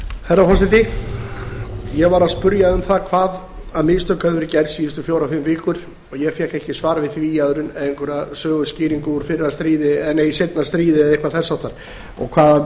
herra forseti ég var að spyrja um hvaða mistök hefðu verið gerð síðustu fjórar fimm vikur og ég fékk ekki svar við því annað en einhverja söguskýringu úr fyrra stríði eða seinna stríði eða eitthvað þess háttar hvaða